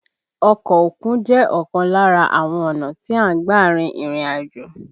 Ọkọ òkun jẹ́ ọ̀kan lára àwọn ọ̀nà tí a ń gbà rin ìrìn àjò